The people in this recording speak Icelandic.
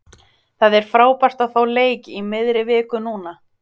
Það er frábært að fá leik í miðri viku núna.